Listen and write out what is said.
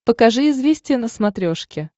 покажи известия на смотрешке